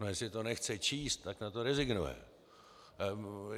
No, jestli to nechce číst, tak na to rezignuje.